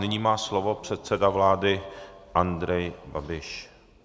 Nyní má slovo předseda vlády Andrej Babiš.